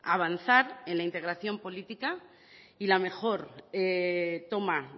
avanzar en la integración política y la mejor toma